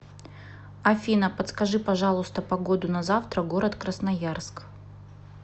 афина подскажи пожалуйста погоду на завтра город красноярск